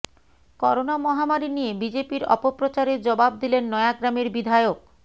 corona মহামারি নিয়ে বিজেপির অপপ্রচারের জবাব দিলেন নয়াগ্ৰামের বিধায়ক